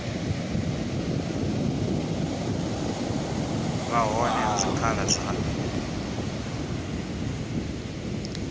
vha hone ha zwikhala zwa